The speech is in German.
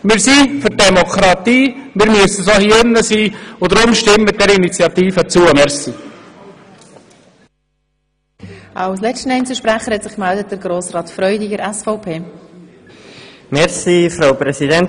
Wir sind für Demokratie, müssen dies auch hier im Rat sein und deshalb bitte ich Sie, der Initiative zuzustimmen.